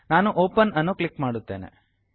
ನಾನು ಒಪೆನ್ ಅನ್ನು ಕ್ಲಿಕ್ ಮಾಡುತ್ತೇನೆ